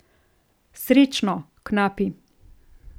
Srečno, knapi!